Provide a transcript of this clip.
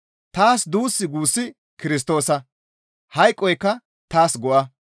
Taas duus guussi Kirstoosa; hayqoykka taas go7a.